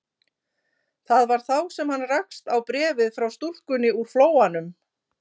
Það var þá sem hann rakst á bréfið frá stúlkunni úr Flóanum.